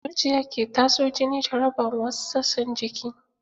Zuciya ke tatso jini ta raba ma wasu sassan jiki.